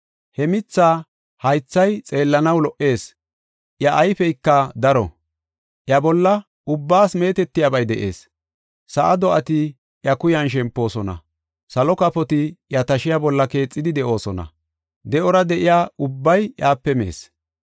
He mithaa haythay xeellanaw lo77ees; iya ayfeyka daro; iya bolla ubbaas meetetiyabay de7ees. Sa7a do7ati iya kuyan shempoosona; salo kafoti iya tashiya bolla keexidi de7oosona. De7ora de7iya ubbay iyape mees.